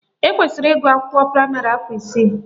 Ekwesiri ịgụ akwụkwọ praịmarị afọ isii